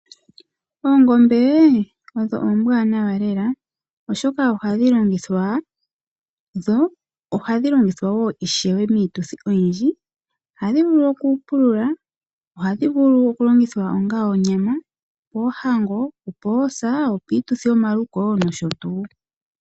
Oongombe odho oombwanawa lela oshoka ohadhi longithwa. Ohadhi longithwa woo ishewe miituthi oyindji . Ohadhi vulu okupulula . Ohadhi vulu okulongithwa onga onyama Moohango, poosa piituthi yomalufo nosho tuu.